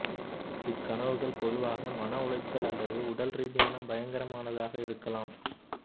இக் கனவுகள் பொதுவாக மன உளைச்சல் அல்லது உடல் ரீதியான பயங்கரமானதாக இருக்கலாம்